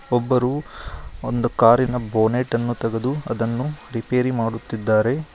ಒಬ್ಬರು ಒಂದು ಕಾರಿನ ಬೋನೆಟ್ ಅನ್ನು ತೆಗೆದು ಅದನ್ನು ರಿಪೇರಿ ಮಾಡುತ್ತಿದ್ದಾರೆ.